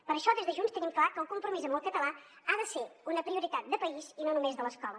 per això des de junts tenim clar que el compromís amb el català ha de ser una prioritat de país i no només de l’escola